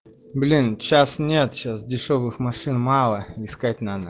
блин сейчас нет сейчас дешёвых машин мало искать надо